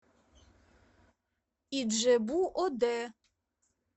иджебу оде